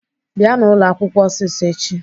Bịanụ ụlọakwụkwọ ọsịsọ echi!